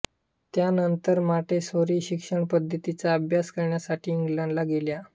त्यानंतर त्या मॉंटेसोरी शिक्षणपद्धतीचा अभ्यास करण्यासाठी इंग्लंडला गेल्या